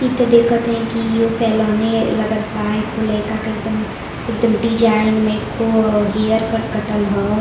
ई त देखत हई की इहों सेलोने लागत बा। एखों लईका के एकदम एकदम डिजाइन मे हेयरकट कटल ह।